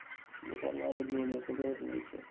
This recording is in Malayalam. ഇനിയിപ്പോ എന്ന വല്ല juniors ഒക്കെ വരുന്നത് ചോദിച്ചതാ